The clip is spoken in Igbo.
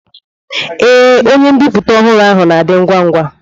Ee, onye mbipụta ọhụrụ ahụ na-adị ngwa ngwa.